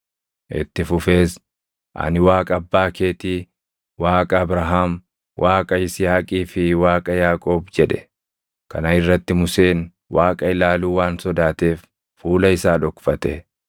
Itti fufees, “Ani Waaqa abbaa keetii, Waaqa Abrahaam, Waaqa Yisihaaqii fi Waaqa Yaaqoob” jedhe. Kana irratti Museen Waaqa ilaaluu waan sodaateef fuula isaa dhokfate.